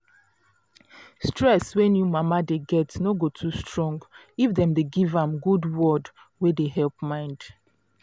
stress wey new mama dey get no go too strong if dem dey give am good word wey dey help mind